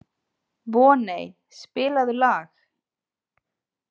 Voney, spilaðu lag.